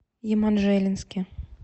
еманжелинске